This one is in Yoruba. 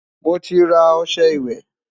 moti rà ọsẹ ìwé